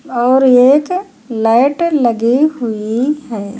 और एक लाइट लगी हुई है।